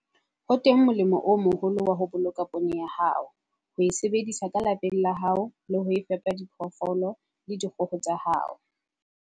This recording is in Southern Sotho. Ho teng molemo o moholo wa ho boloka poone ya hao, ho e sebedisa ka lapeng la hao le ho fepa diphoofolo le dikgoho tsa hao.